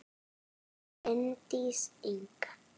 Bryndís Inda